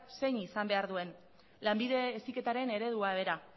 zein izan behar duen lanbide heziketaren eredua bera